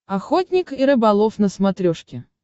охотник и рыболов на смотрешке